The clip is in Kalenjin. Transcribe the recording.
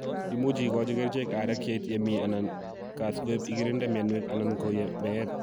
Imuche igochi kericheek areek yeit yemi/Gaa sikobiit igirinde mianwek anan ko meet.